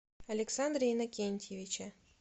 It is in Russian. александре иннокентьевиче